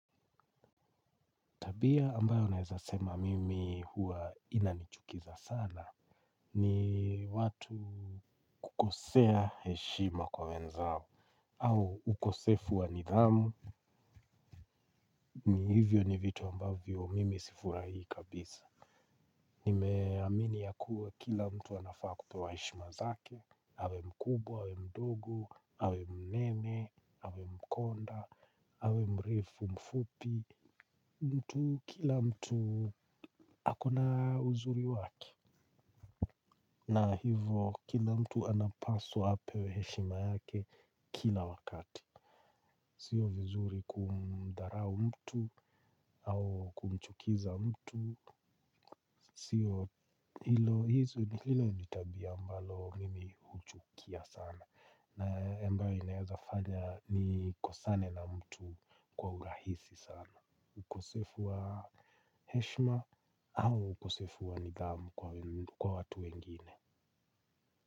Tabia ambayo naweza sema mimi huwa inanichukiza sana ni watu kukosea heshima kwa wenzao au ukosefu wa nidhamu ni hivyo ni vitu ambavyo mimi sifurahii kabisa. Nime amini ya kuwa kila mtu anafaa kupewa heshima zake, awe mkubwa, awe mdogo, awe mnene, awe mkonde, awe mrefu mfupi, mtu kila mtu akona uzuri wake. Na hivo, kila mtu anapaswa apewe heshima yake kila wakati. Sio vizuri kumdharau mtu au kumchukiza mtu. Sio hilo ni tabia ambalo mimi huchukia sana. Na ambayo inaweza fanya nikosane na mtu kwa urahisi sana. Ukosefu wa heshima au ukosefu wa nidhamu kwa watu wengine.